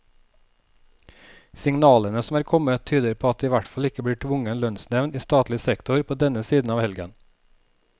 Signalene som er kommet, tyder på at det i hvert fall ikke blir tvungen lønnsnevnd i statlig sektor på denne siden av helgen.